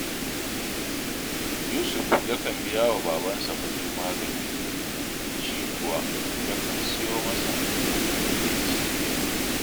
Yusuf yakan biya wa babansa kuɗin magani, shi kuwa yakan siyo masa abin da zai ci